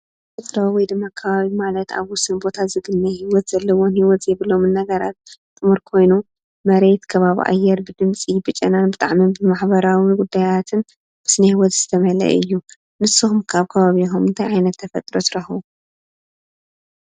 ተፈጥሮአዊ ወይድማ ከባቢ ማለት ኣብ ውሱን ቦታ ዝግነ ሂወት ዘለዎምን ሂወት ዘይብሎምን ነገራት ጥሙር ኮይኑ መሬት ከባቢ ኣየር ብድመፂ ብጨናን ብጣዕሚ ብማሕበራዊ ጉዳያትን ስነሂወትን ዝተመልአ እዩ። ንስኩም ከ ኣብ ከባቢኩም እንታይ ዓይነት ተፈጥሮ ትረኽቡ?